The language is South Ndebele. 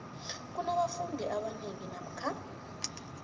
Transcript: kunabafundi abanengi namkha